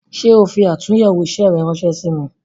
Ṣé o fi atunyewo isẹ rẹ ránsẹ́ sí mi "